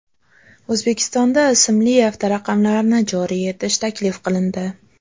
O‘zbekistonda ismli avtoraqamlarni joriy etish taklif qilindi .